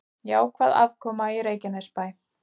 Jákvæð afkoma í Reykjanesbæ